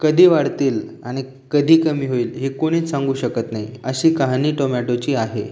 कधी वाडतील आणि कधी कमी होईल हे कोणीच सांगू शकत नाही अशी कहाणी टोमॅटोची आहे.